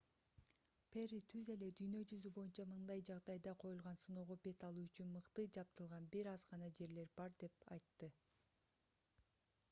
перри түз эле дүйнө жүзү боюнча мындай жагдайда коюлган сыноого бет алуу үчүн мыкты жабдылган бир аз гана жерлер бар деп айтты